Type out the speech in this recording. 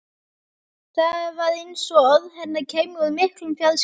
Það var eins og orð hennar kæmu úr miklum fjarska.